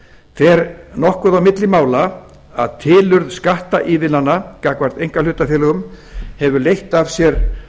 skatt fer nokkuð á milli mála að tilurð skatt ívilnana gagnvart einkahlutafélögum hefur leitt af sér